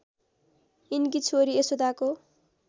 यिनकी छोरी यशोदाको